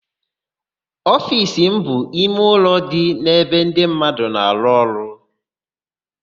Ofiisi bụ ime ụlọ dị n'ebe ndị mmadụ na-arụ ọrụ.